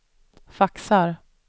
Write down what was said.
faxar